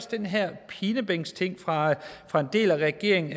den her pinebænksting fra fra en del af regeringen